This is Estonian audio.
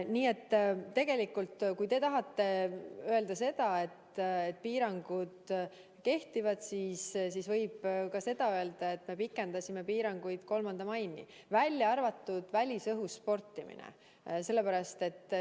Nii et tegelikult, kui te tahate öelda, et piirangud kehtivad, siis võib ka seda öelda, et me pikendasime piiranguid 3. maini, välja arvatud välisõhus sportimine.